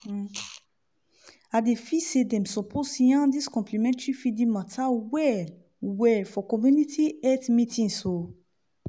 idey feel say dem suppose yarn dis complementary feeding mata well-well for community health meetings o